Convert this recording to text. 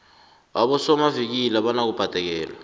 abosomavikili abanabubhadekelo